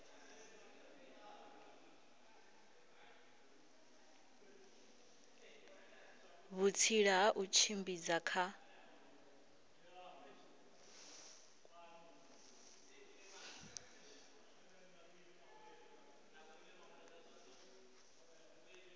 vhutsila ha u tshimbidza kha